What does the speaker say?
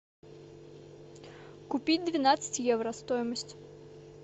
купить двенадцать евро стоимость